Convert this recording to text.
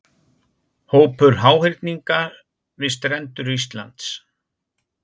Hópur háhyrninga við strendur Íslands.